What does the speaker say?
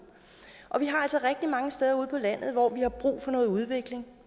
vi har altså rigtig mange steder ude på landet hvor vi har brug for noget udvikling